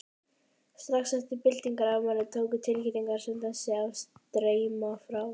Strax eftir byltingarafmælið tóku tilkynningar sem þessi að streyma frá